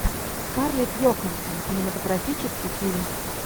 скарлетт йоханссон кинематографический фильм